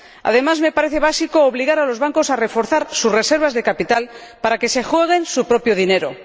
Además, me parece básico obligar a los bancos a reforzar sus reservas de capital para que se jueguen su propio dinero.